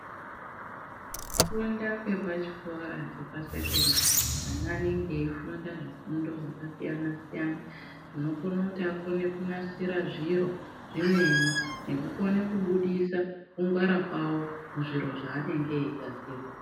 Kufunda kwepachikora chepasekondari ana anenge eyifunda zvifundo zvakasiyana-siyana, zvinokone kuti akone kunasira zviro zvimweni nekukone kubudisa kungwara kwawo muzviro zvaanenge eyigadzira.